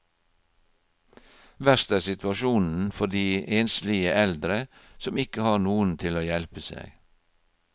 Verst er situasjonen for de enslige eldre, som ikke har noen til å hjelpe seg.